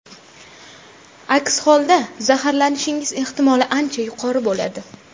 Aks holda zaharlanishingiz ehtimoli ancha yuqori bo‘ladi.